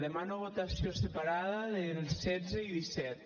demano votació separada dels setze i disset